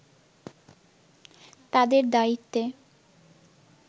তাদের দায়িত্বে